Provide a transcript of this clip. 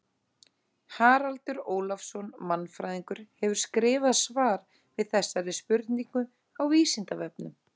Haraldur Ólafsson mannfræðingur hefur skrifað svar við þessari spurningu á Vísindavefnum.